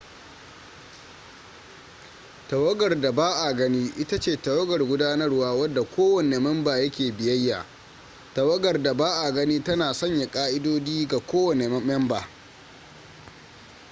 tawagar da ba a gani ita ce tawagar gudanarwa wadda kowanne memba ya ke biyayya tawagar da ba a gani tana sanya ƙa'idodi ga kowanne memba